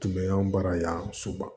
Tun bɛ anw baara yan soba